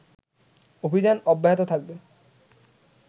অভিযান অব্যাহত থাকবে